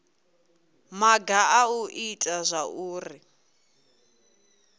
maga a u ita zwauri